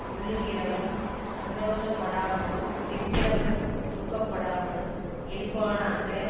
கொள்ளுகிறவன் சந்தோஷப்படாமலும் விற்கிறவன் துக்கப்படாமலும் இருப்பானாக